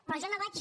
però jo no vaig